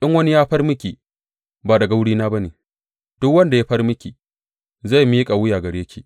In wani ya far miki, ba daga wurina ba ne; duk wanda ya far miki zai miƙa wuya gare ki.